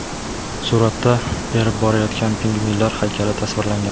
Suratda erib borayotgan pingvinlar haykali tasvirlangan.